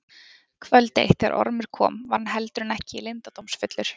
Kvöld eitt þegar Ormur kom var hann heldur en ekki leyndardómsfullur.